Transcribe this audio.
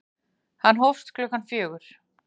Hann hófst klukkan fjögur.